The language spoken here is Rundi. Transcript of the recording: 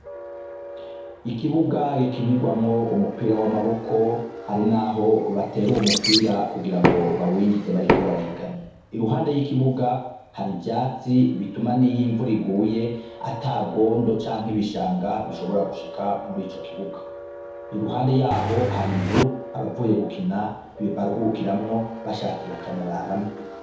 Ikibuga gikinirwamwo umupira wa maboko ari naho batera uwo mupira kugira ngo bawijize bariko barahiganwo, iruhande y'ikibuga har'ivyatsi bituma niyi imvura iguye ata ngondo canke ibishanga bishobora gushika muri co kibuga, iruhande yaho har'inzu abavuye gukina baruhukiramwo bashatse bakanararamwo.